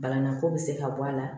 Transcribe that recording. Banako bɛ se ka bɔ a la